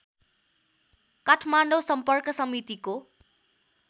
काठमाडौँ सम्पर्क समितिको